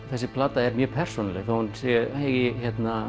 þessi plata er mjög persónuleg þótt hún eigi